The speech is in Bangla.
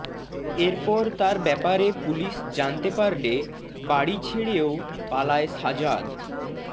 এরপর তার ব্যাপারে পুলিশ জানতে পারলে বাড়ি ছেড়েও পালায় সাজাদ